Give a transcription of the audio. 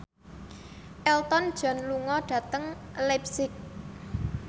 Elton John lunga dhateng leipzig